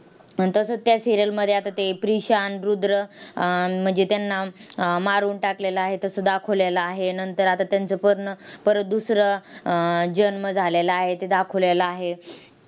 तसंच त्या serial मध्ये आता ते प्रिशान, रुद्र अं म्हणजे त्यांना अह मारून टाकलेलं आहे, तसं दाखवलेलं आहे. नंतर आता त्यांचा पर्ण परत दुसरा आह जन्म झालेला आहे ते दाखवलेलं आहे.